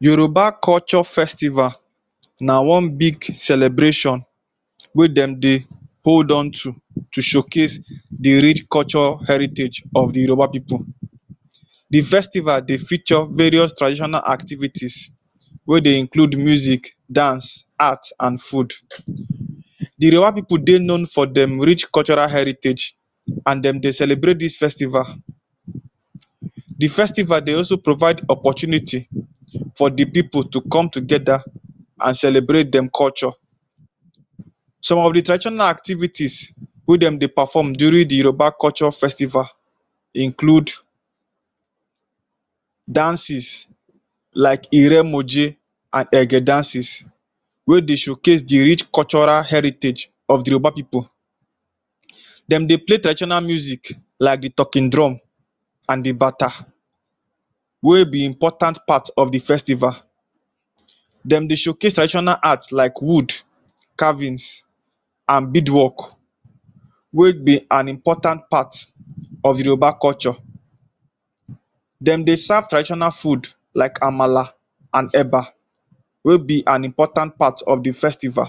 Yoruba culture festival na one big celebration wey dem dey hold on to to showcase the rich culture heritage of the Yoruba pipu. The festival dey feature various traditional activities wey dey include music, dance, art an food. The Yoruba pipu dey known for dem rich cultural heritage an dem dey celebrate dis festival. The festival dey also provide opportunity for the pipu to come together an celebrate dem culture. Some of the traditional activities wey dem dey perform during the Yoruba culture festival include dances like Iremoje an Ege dances wey dey showcase the rich cultural heritage of the Yoruba pipu. Dem dey play traditional music like the Talking Drum an the Bata wey be important part of the festival. Dem dey showcase traditional art like wood carvings an beadwork wey be an important part of the Yoruba culture. Dem dey serve traditional food like Amala an Eba wey be an important part of the festival.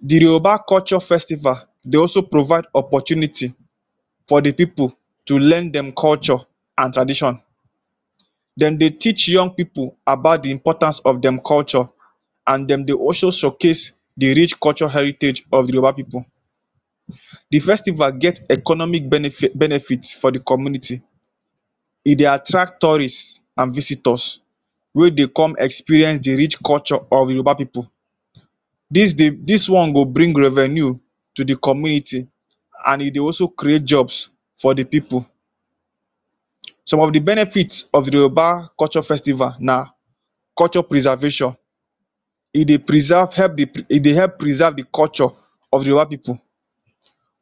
The Yoruba culture festival dey also provide opportunity for the pipu to learn dem culture an tradition. Dem dey teach young pipu about the importance of dem culture, an dem dey also showcase the rich culture heritage of the Yoruba pipu. The festival get economic benefit for the community. E dey attract tourist an visitors wey dey come experience the rich culture of Yoruba pipu. Dis dey dis one go bring revenue to the community an e dey also create jobs for the pipu. Some of the benefit of the Yoruba culture festival na culture preservation. E dey preserve help e dey help preserve the culture of the Yoruba pipu.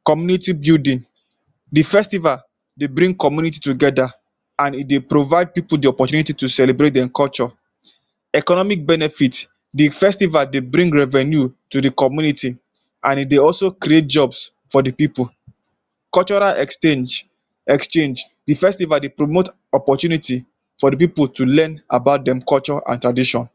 Community building. The festival dey bring community together an e dey provide pipu the opportunity to celebrate dem culture. Economic benefit. The festival dey bring revenue to the community an e dey also create jobs for the pipu. Cultural exchange. The festival dey promote opportunity to for the pipu to learn about dem culture an tradition.